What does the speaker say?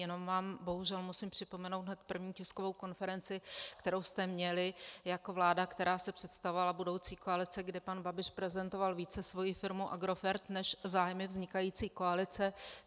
Jenom vám bohužel musím připomenout hned první tiskovou konferenci, kterou jste měli jako vláda, která se představovala, budoucí koalice, kde pan Babiš prezentoval více svoji firmu Agrofert než zájmy vznikající koalice.